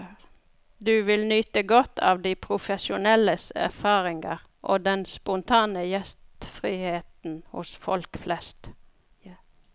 Du vil nyte godt av de profesjonelles erfaringer, og den spontane gjestriheten hos folk flest.